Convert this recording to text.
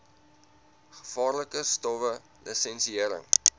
gevaarlike stowwe lisensiëring